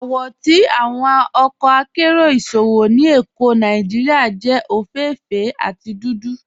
Awọ ti awọn ọkọ àkéró ìṣòwò ni Ékó Nàìjíríà jẹ ofééféè àti dúdú.